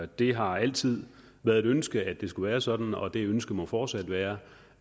det har altid været et ønske at det skulle være sådan og det ønske må fortsat være